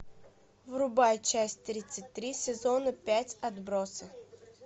врубай часть тридцать три сезона пять отбросы